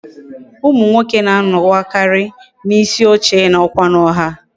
Umu nwoke na anowakari na isi oche na okwa na ọha